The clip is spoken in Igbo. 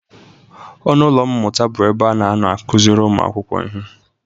Ọnụ ụlọ mmụta bụ ebe a na-anọ akụzịrị ụmụakwụkwọ ihe.